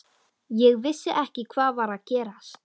Ég vissi ekki hvað var að gerast.